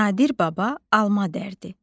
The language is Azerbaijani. Nadir baba alma dərdi.